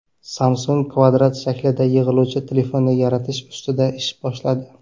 Samsung kvadrat shaklida yig‘iluvchi telefonni yaratish ustida ish boshladi.